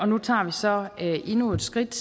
nu tager vi så endnu et skridt